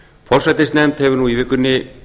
forsætisnefnd hefur nú í vikunni